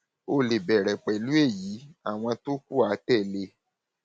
o lè bẹrẹ pẹlú èyí àwọn tó kù á tẹlé e